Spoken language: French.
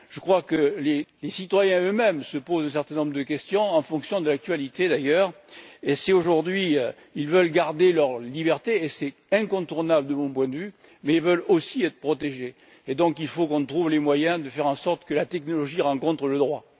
Je crois que les citoyens eux mêmes se posent un certain nombre de questions, en fonction de l'actualité, d'ailleurs, et si, aujourd'hui, ils veulent garder leur liberté et c'est incontournable de mon point de vue et veulent aussi être protégés, il faut que nous trouvions le moyen de faire en sorte que la technologie rencontre le droit.